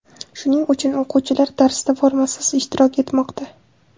Shuning uchun o‘quvchilar darsda formasiz ishtirok etmoqda.